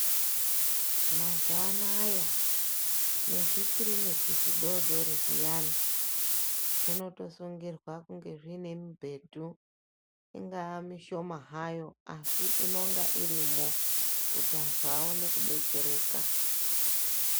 Mazuva anaya nezvikiriniki zvidodori zviyani zvinotosungirwa kunge zviine zviine midhebhu , ingaa mishoma hayo asi inonga irimo, kuti antu aone kudetsereka.